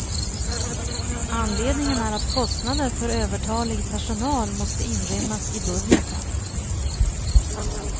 Anledningen är att kostnader för övertalig personal måste inrymmas i budgeten.